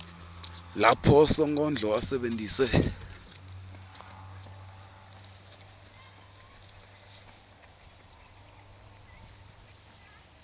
lapho sonkondlo asebentise